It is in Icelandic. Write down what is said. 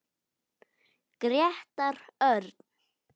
Grétar Örn.